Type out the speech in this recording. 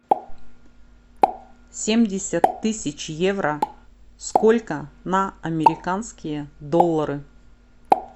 семьдесят тысяч евро сколько на американские доллары